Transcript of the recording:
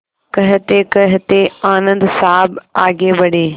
कहतेकहते आनन्द साहब आगे बढ़े